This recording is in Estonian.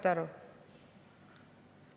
" Saate aru?